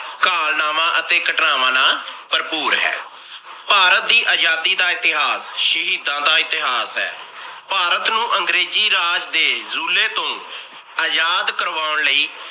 ਕਾਲਨਾਵਾ ਅਤੇ ਘਟਨਾਵਾਂ ਨਾਲ ਭਰਭੂਰ ਹੈ। ਭਾਰਤ ਦੀ ਅਜਾਦੀ ਦਾ ਇਤਿਹਾਸ ਸ਼ਹੀਦਾਂ ਦਾ ਇਤਿਹਾਸ ਹੈ। ਭਾਰਤ ਨੂੰ ਅੰਗਰੇਜ਼ੀ ਰਾਜ ਦੇ ਜੂਲੇ ਤੋਂ ਅਜਾਦ ਕਰਵਾਉਣ ਲਾਇ